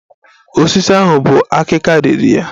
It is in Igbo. Osisi ahụ bu akika riri ya